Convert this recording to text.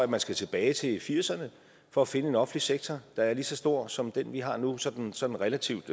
man skal tilbage til nitten firserne for at finde en offentlig sektor der er lige så stor som den vi har nu sådan sådan relativt